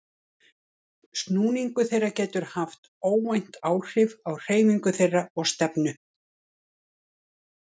Snúningur þeirra getur haft óvænt áhrif á hreyfingu þeirra og stefnu.